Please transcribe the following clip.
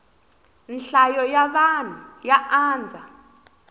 nhlayo ya vanhu ya andza